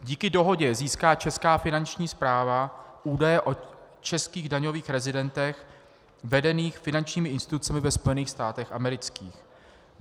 Díky dohodě získá česká finanční správa údaje o českých daňových rezidentech vedených finančními institucemi ve Spojených státech amerických.